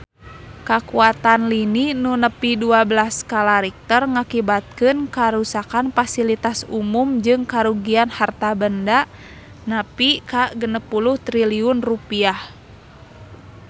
Kakuatan lini nu nepi dua belas skala Richter ngakibatkeun karuksakan pasilitas umum jeung karugian harta banda nepi ka 60 triliun rupiah